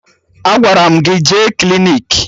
Agwara m gị jee klinik!